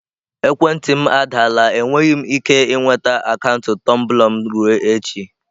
Ekwentị m adaala enweghị m ike ịnweta akaụntụ Tumblr m ruo echi.